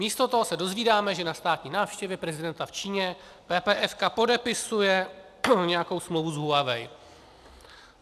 Místo toho se dozvídáme, že na státní návštěvě prezidenta v Číně PPF podepisuje nějakou smlouvu s Huawei.